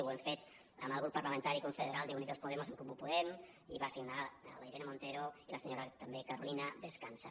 ho hem fet amb el grup parlamentari confederal d’unidos podemos en comú podem i ho van signar la irene montero i la senyora també carolina bescansa